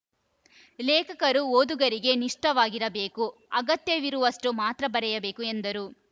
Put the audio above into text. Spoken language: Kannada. ಲೇಖಕರು ಓದುಗರಿಗೆ ನಿಷ್ಠವಾಗಿರಬೇಕು ಅಗತ್ಯವಿರುವಷ್ಟುಮಾತ್ರ ಬರೆಯಬೇಕು ಎಂದರು